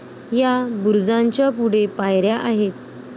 या बुरुजाच्या पुढे पायऱ्या आहेत.